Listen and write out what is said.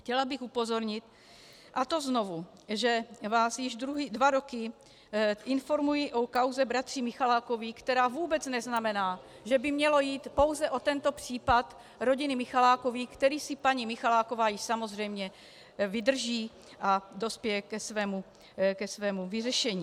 Chtěla bych upozornit, a to znovu, že vás již dva roky informuji o kauze bratří Michalákových, která vůbec neznamená, že by mělo jít pouze o tento případ rodiny Michalákových, který si paní Michaláková již samozřejmě vydrží a dospěje ke svému vyřešení.